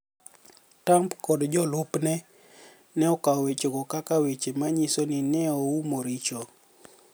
Tump kod jolupni e kawo wechego kaka weche ma niyiso nii ni e oumo richo.